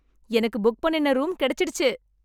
எனக்கு புக் பண்ணின ரூம் கிடைச்சிடுச்சு.